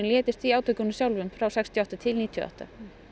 fórust í átökunum sjálfum frá sextíu og átta til níutíu og átta